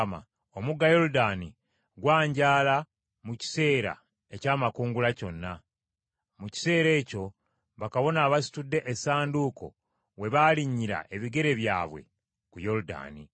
Omugga Yoludaani gwanjaala mu kiseera eky’amakungula kyonna. Mu kiseera ekyo bakabona abasitudde Essanduuko we baalinnyira ebigere byabwe ku Yoludaani.